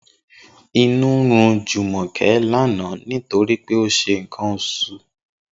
Inú run Jùmò̩ké̩ lánàá nítorí pé ó ń s̩e nǹkan os̩ù